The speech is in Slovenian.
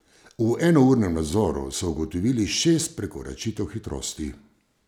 V enournem nadzoru so ugotovili šest prekoračitev hitrosti.